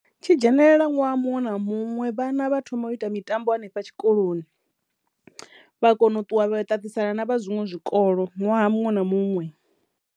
Tshi dzhenelela ṅwaha muṅwe na muṅwe vhana vha thoma u ita mitambo hanefha tshikoloni vha kono u ṱuwa vha ṱaṱisana na vha zwiṅwe zwikolo ṅwaha muṅwe na muṅwe.